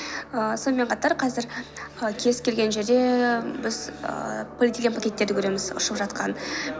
ааа сонымен қатар қазір ы кез келген жерде біз ііі полиэтилен пакеттерді көреміз ұшып жатқан